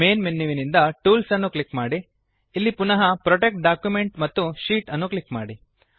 main ಮೆನುವಿನಿಂದ tools ಅನ್ನು click ಮಾಡಿಅಲ್ಲಿ ಪುನಃ ಪ್ರೊಟೆಕ್ಟ್ ಡಾಕ್ಯುಮೆಂಟ್ ಮತ್ತು ಶೀಟ್ ಅನ್ನು ಕ್ಲಿಕ್ ಮಾಡಿ